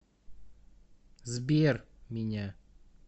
сбер меня